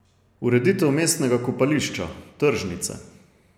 Ureditev mestnega kopališča, tržnice.